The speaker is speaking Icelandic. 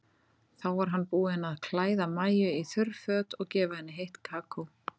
Þá var hann búinn að klæða Maju í þurr föt og gefa henni heitt kakó.